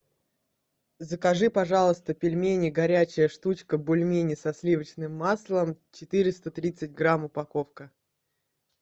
закажи пожалуйста пельмени горячая штучка бульмени со сливочным маслом четыреста тридцать грамм упаковка